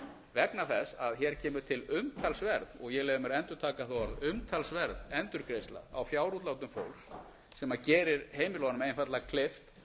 vegna þess að hér kemur til umtalsverð og ég leyfi mér að endurtaka það orð umtalsverð endurgreiðsla á fjárútlátum fólks sem gerir heimilunum einfaldlega kleift